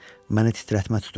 Məni titrətmə tuturdu.